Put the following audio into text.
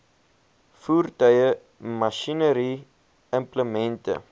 voertuie masjinerie implemente